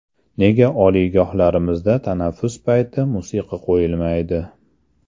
Nega oliygohlarimizda tanaffus payti musiqa qo‘yilmaydi?